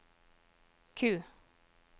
Q